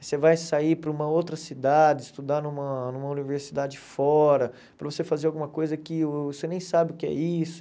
Você vai sair para uma outra cidade, estudar numa numa universidade fora, para você fazer alguma coisa que uh você nem sabe o que é isso.